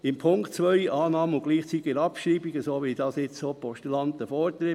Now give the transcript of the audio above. Bei Punkt 2: Annahme und gleichzeitige Abschreibung, wie das jetzt auch die Postulaten fordern.